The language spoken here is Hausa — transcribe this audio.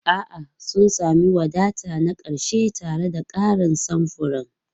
A'a, sun sami wadata na ƙarshe tare da ƙarin samfuran.